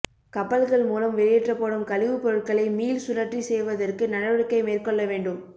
கப்பல்கள் மூலம் வெளியேற்றப்படும் கழிவுப் பொருட்களை மீள் சுழற்சி செய்வதற்கு நடவடிக்கை மேற்கொள்ள வேண்டும்